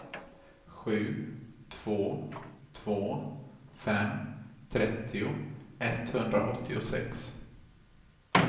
sju två två fem trettio etthundraåttiosex